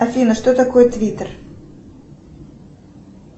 афина что такое твиттер